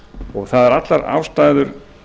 og það eru allar ástæður